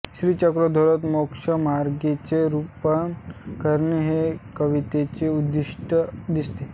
श्रीचक्रधरोक्त मोक्षमार्गाचे निरुपण करणे हे कवीचे उद्दिष्ट दिसते